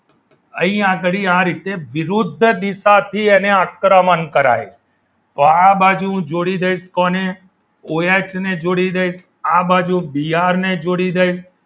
અહીં આગળી આ રીતે વિરુદ્ધ દિશાથી એને આક્રમણ કરાવે છે તો આ બાજુ જોડી દઈશ કોને ઓએચ ને જોડી દઈશ આ બાજુ બીઆર ને જોડી દઈશ